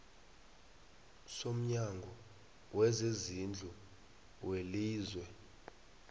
somnyango wezezindlu welizwe